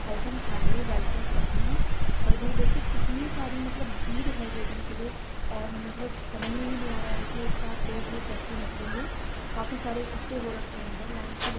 health and family welfare Patna और ईधर देखें कितनी सारी मतलब भीड़ है देखने के लिए और इसका मतलब समज में भी नहीं आ रहा है के एक साथ लोग ये कैसे निकलेंगें काफी सारे इक्कट्ठा हो रखे है ईधर लाइन से --